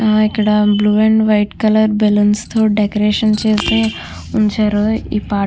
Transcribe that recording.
ఆ ఇక్కడ blue and white colour balloons తో డెకరేషన్ చేసి ఉంచారు ఈ పా --